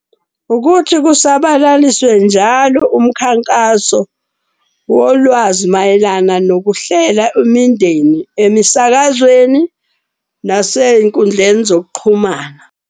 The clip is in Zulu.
Ukuthi kusabalaliswe njalo umkhankaso wolwazi mayelana nokuhlela imindeni emisakazweni, nasey'nkundleni zokuxhumana.